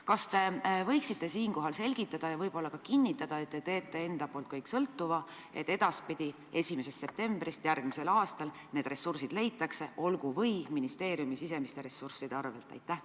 Kas te võite selgitada ja võib-olla ka kinnitada, et te teete kõik endast sõltuva, et 1. septembrist järgmisel aastal need ressursid leitakse, olgu või ministeeriumi sisemiste ressursside arvel?